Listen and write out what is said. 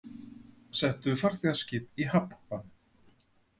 Settu farþegaskip í hafnbann